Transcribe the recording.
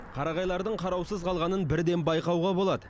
қарағайлардың қараусыз қалғанын бірден байқауға болады